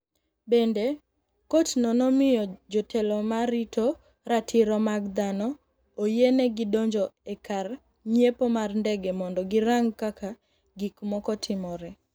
Bende, kotno nomiyo jotelo ma rito ratiro mag dhano oyienegi donjo e kar ng’iepo mar ndege mondo girang’ kaka gik moko timore.